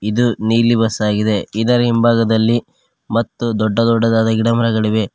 ಇದು ನೀಲಿ ಬಸ್ ಆಗಿದೆ ಇದರ ಹಿಂಭಾಗದಲ್ಲಿ ಮತ್ತು ದೊಡ್ಡ ದೊಡ್ಡದಾದ ಗಿಡ ಮರಗಳಿವೆ.